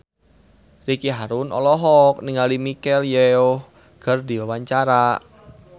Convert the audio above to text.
Ricky Harun olohok ningali Michelle Yeoh keur diwawancara